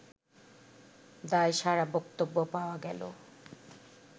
দায়সারা বক্তব্য পাওয়া গেল